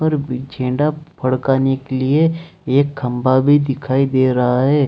और भी झेंडा फड़काने के लिए एक खंभा भी दिखाई दे रहा है।